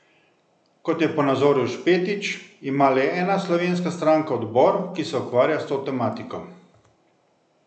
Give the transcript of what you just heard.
Kot je ponazoril Špetič, ima le ena slovenska stranka odbor, ki se ukvarja s to tematiko.